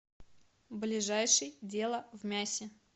ближайший дело в мясе